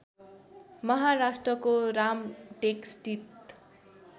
महाराष्ट्रको रामटेक स्थित